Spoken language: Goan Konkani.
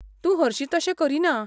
तूं हरशीं तशें करीना.